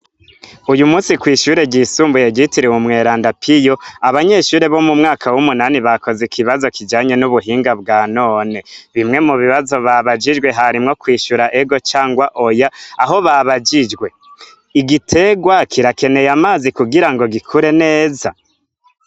Uyu musi kwishure ryisumbuye gitiriwe umwelandapiyo abanyeshure bo mu mwaka w'umunani bakoze ikibazo kijanye n'ubuhinga bwa none bimwe mu bibazo babajijwe harimwo kwishura ego cangwa oya aho babajijwe igitegwa kirakeneye amazi kugira ngo gikure neza.